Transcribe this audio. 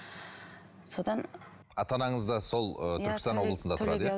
содан ата анаңыз да сол ы түркістан облысында